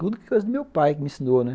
Tudo coisa do meu pai que me ensinou, né?